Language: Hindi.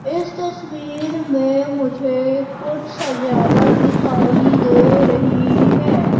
इस तस्वीर मे मुझे कुछ सजावट दिखाई दे रही है।